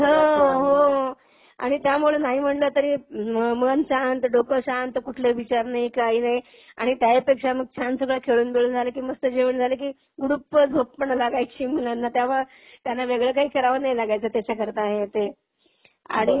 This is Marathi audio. ह, हो. आणि त्यामुळं नाही म्हंटलं तरी मन शांत, डोक शांत कुठले विचार नाहीत. की काही नाही आणि त्याही पेक्षा मग छान सगळं खेळून बिळून झालं की मस्त जेवण झालं की गुडुप झोप पण लागायची मुलांना त्यामुळं त्यांना वेगळं काही करावं नाही लागायचं त्याच्या करता हे ते. आणि